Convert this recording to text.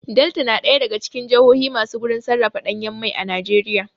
Delta na ɗaya daga cikin jahohi masu gurin sarrafa ɗanyan mai Najeriya